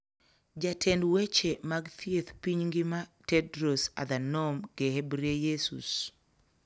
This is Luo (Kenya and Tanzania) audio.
Jatend weche mag thieth piny ngima Tedros Adhanom Gehebreyesus